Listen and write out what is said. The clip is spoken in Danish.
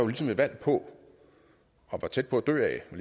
ligesom et valg på og var tæt på at dø af var